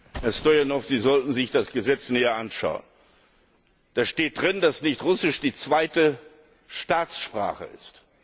Herr Stoyanov, Sie sollten sich das Gesetz näher anschauen. Darin steht, dass nicht Russisch die zweite Staatssprache ist.